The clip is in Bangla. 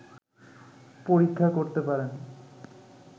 পরীক্ষা করতে পারেন